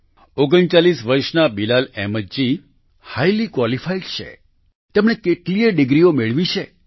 39 વર્ષના Bilal Ahmed ji highly qualified છે તેમણે કેટલીયે ડિગ્રીઓ મેળવી છે